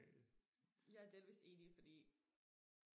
jeg er delvist enig fordi